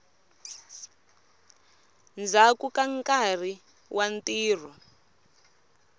ndzhaku ka nkarhi wa ntirho